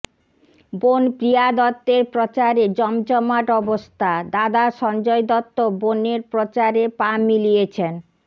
বোন প্রিয়া দত্তের প্রচারে জমজমাট অবস্থা দাদা সঞ্জয় দত্ত বোনর প্রচারে পা মিলিয়েছেন